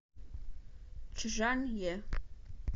чжанъе